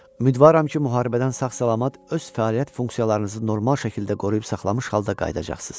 Ümidvaram ki, müharibədən sağ-salamat öz fəaliyyət funksiyalarınızı normal şəkildə qoruyub saxlamış halda qayıdacaqsınız.